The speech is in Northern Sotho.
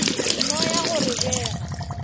no ya go re bega